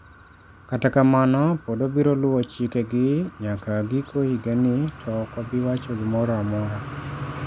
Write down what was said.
Kata kamano, pod wabiro luwo chikegi nyaka giko higani, to ok wabi wacho gimoro amora.